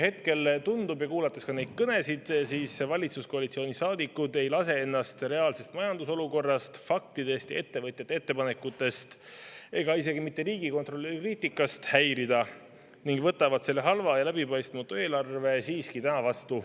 Hetkel tundub, olles kuulanud ka neid kõnesid, et valitsuskoalitsiooni saadikud ei lase ennast reaalsest majandusolukorrast, faktidest ja ettevõtjate ettepanekutest ega isegi mitte riigikontrolöri kriitikast häirida ning võtavad selle halva ja läbipaistmatu eelarve siiski täna vastu.